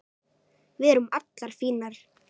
Við erum allar fínar